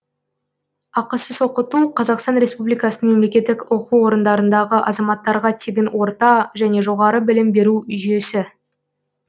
ақысыз оқыту қазақстан республикасының мемлекеттік оқу орындарындағы азаматтарға тегін орта және жоғары білім беру жүйесі